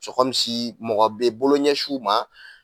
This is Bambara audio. mɔgɔ bɛ bolo ɲɛsiw ma.